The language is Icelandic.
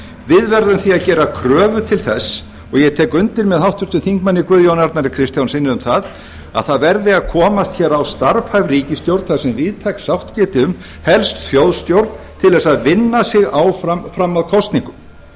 við verðum því að gera kröfu til þess og ég tek undir með háttvirtum þingmanni guðjóni arnari kristjánssyni um að það verði að komast hér á starfhæf ríkisstjórn þar sem víðtæk sátt geti um helst þjóðstjórn til þess að vinna sig áfram fram að kosningum það